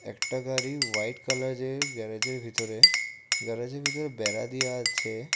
একটা গাড়ি হোয়াইট কালারে গ্যারেজের ভিতরে গ্যারেজের ভিতরে বেড়া দেয়া আছে।